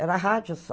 Era rádio só.